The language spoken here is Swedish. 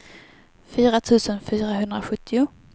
fyra tusen fyrahundrasjuttio